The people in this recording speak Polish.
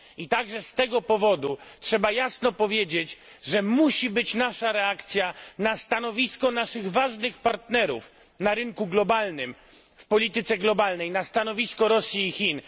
Także z tego powodu trzeba jasno powiedzieć, że konieczna jest nasza reakcja na stanowisko naszych ważnych partnerów na rynku globalnym, w polityce globalnej Rosji i Chin.